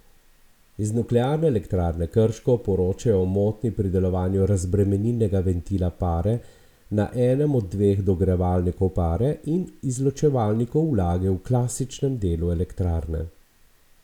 Iz Nuklearne elektrarne Krško poročajo o motnji pri delovanju razbremenilnega ventila pare na enem od dveh dogrevalnikov pare in izločevalnikov vlage v klasičnem delu elektrarne.